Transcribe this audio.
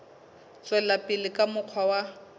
tswela pele ka mokgwa wa